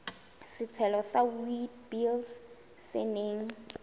setshelo sa witblits se neng